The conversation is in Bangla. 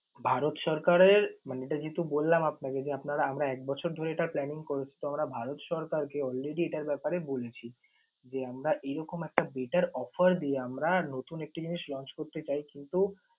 ভারত সরকারের মানে এটা যেহেতু বললাম আপনাকে যে আপনারা আমরা এক বছর ধরে এটার planning করেছি। তখন আমরা ভারত সরকারকে already এটার ব্যাপারে বলেছি যে আমরা এরকম একটা better offer দিয়ে আমরা নতুন একটি জিনিস launch করতে চাইছি। তো